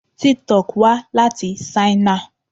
Tik-Tok wá láti Ṣáínà.